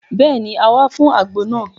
Béèni, a wá fún àgbo náà